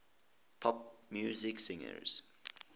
pop music singers